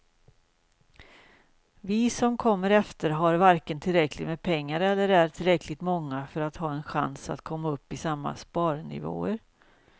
Vi som kommer efter har varken tillräckligt med pengar eller är tillräckligt många för att ha en chans att komma upp i samma sparnivåer.